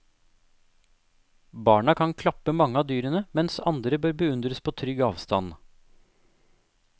Barna kan klappe mange av dyrene, mens andre bør beundres på trygg avstand.